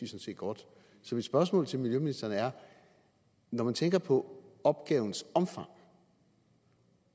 set godt så mit spørgsmål til miljøministeren er når man tænker på opgavens omfang